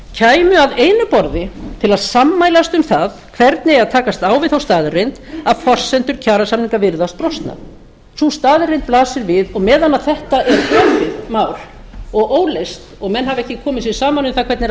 kæmu að einu borði til að sammælast um það hvernig eigi að takast á við þá staðreynd að forsendur kjarasamninga virðast brostnar sú staðreynd blasir við og meðan að þetta er þannig mál og óleyst og menn hafa ekki komið sér saman um hvernig þeir ætla